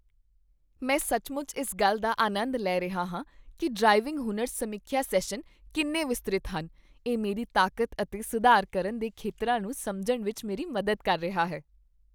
ਮੈਂ ਸੱਚਮੁੱਚ ਇਸ ਗੱਲ ਦਾ ਆਨੰਦ ਲੈ ਰਿਹਾ ਹਾਂ ਕੀ ਡ੍ਰਾਈਵਿੰਗ ਹੁਨਰ ਸਮੀਖਿਆ ਸੈਸ਼ਨ ਕਿੰਨੇ ਵਿਸਤ੍ਰਿਤ ਹਨ, ਇਹ ਮੇਰੀ ਤਾਕਤ ਅਤੇ ਸੁਧਾਰ ਕਰਨ ਦੇ ਖੇਤਰਾਂ ਨੂੰ ਸਮਝਣ ਵਿੱਚ ਮੇਰੀ ਮਦਦ ਕਰ ਰਿਹਾ ਹੈ।